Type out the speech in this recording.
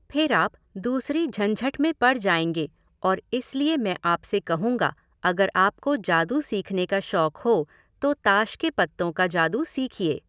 फिर आप दूसरी झंझट में पड़ जाएंगे और इसलिए मैं आपसे कहूँगा, अगर आपको जादू सीखने का शौक हो तो ताश के पत्तों का जादू सीखिए।